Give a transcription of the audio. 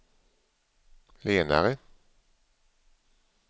lenare